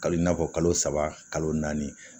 Kali i n'a fɔ kalo saba kalo naani